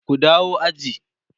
ku dawo aji!